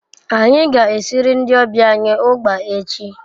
Anyi ga esiri ndi obia anyi ugba echi